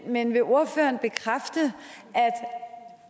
men vil ordføreren bekræfte